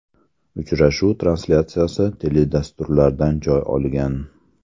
Uchrashuv translyatsiyasi teledasturlardan joy olgan.